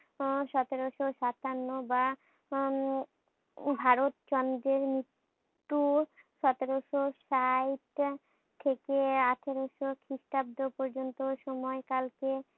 উহ সতেরোশ সাতান্ন বা উম ভারতচন্দ্রের মৃত্যুর সতেরোশ ষাইট থেকে আঠারোশ খ্রিষ্টাব্দ পর্যন্ত সময়কালকে